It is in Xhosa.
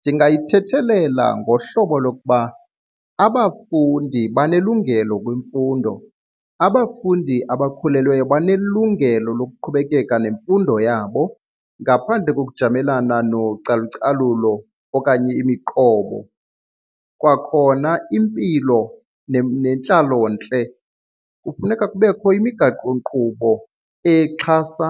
Ndingayithethelela ngohlobo lokuba abafundi banelungelo kwimfundo, abafundi abakhulelweyo banelungelo lokuqhubekeka nemfundo yabo ngaphandle ngokujamelana nocalucalulo okanye imiqobo. Kwakhona impilo nentlalontle, kufuneka kubekho imigaqonkqubo exhasa